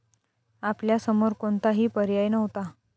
आपल्या समोर कोणताही पर्याय नव्हता.